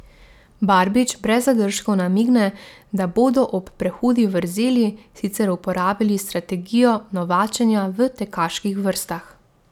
Barbič brez zadržkov namigne, da bodo ob prehudi vrzeli sicer uporabili strategijo novačenja v tekaških vrstah.